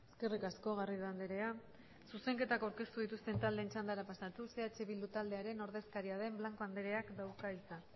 eskerrik asko garrido andrea zuzenketak aurkeztu dituzten taldeen txandara pasatuz eh bildu taldearen ordezkaria den blanco andreak dauka hitza